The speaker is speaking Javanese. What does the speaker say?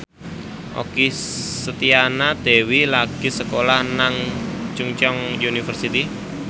Okky Setiana Dewi lagi sekolah nang Chungceong University